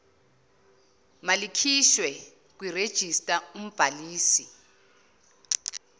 malikhishwe kwirejista umbhalisi